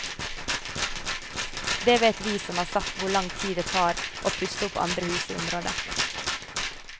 Det vet vi som har sett hvor lang tid det tar å pusse opp andre hus i området.